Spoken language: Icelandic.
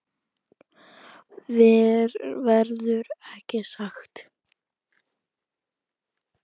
Verður ekki sagt.